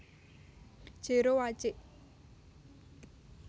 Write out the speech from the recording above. Jero Wacik